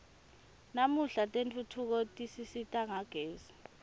namuhla tentfutfuko tisisita ngagezi